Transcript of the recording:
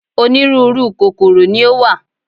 Onírúurú kòkòrò ni ó wà.